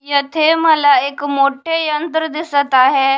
येथे मला एक मोठे यंत्र दिसत आहे.